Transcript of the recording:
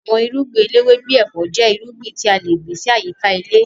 Àwọn irúngbìn eléwé bíi ẹ̀fọ́ jẹ́ irúgbìn tí a le gbìn sí àyíká ilé